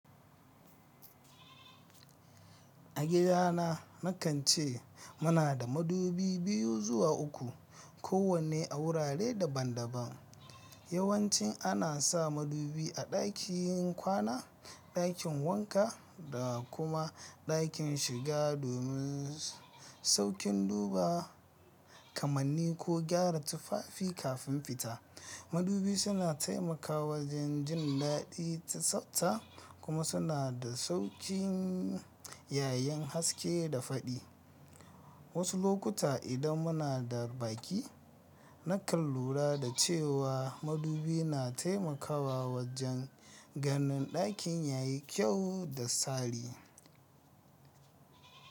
A gida na, na kan ce muna da madubi biyu zuwa uku, kowanne a wurare daban-daban. Yawancin ana sa madubi a ɗakin kwana, ɗakin wanka da kuma ɗakin shiga domin saukin duba kamanni ko gyara tufafi kafin fita. Madubi suna taimakawa wajen jin daɗi ta tsafta kuma suna da sauƙin yayin haske da faɗi. Wasu lokuta idan muna da baƙi, na kan lura da cewa madubi na taimakawa wajen ganin ɗakin yayi kyau da tsari.